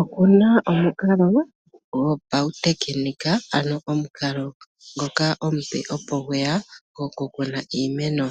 Oku na omukalo gopautekinolohi ano omukalo ngoka omupe opo gwe ya gokukuna iimeno.